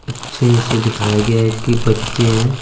अच्छे से दिखाया गया है की बच्चे है ।